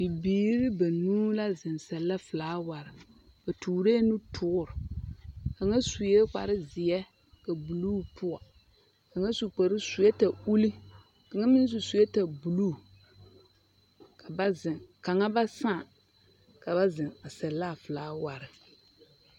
Bibiri banuu la a sԑllԑ filaaware. Ba tooree nutoore. Kaŋa sue kpare zeԑ ka buluu poͻ. Kaŋa su kpare suwԑԑta uli kaŋa meŋ su sewԑԑta buluu. Ka ba zeŋe, kaŋa ba saa, ka zeŋe a sԑllԑ a filaaware.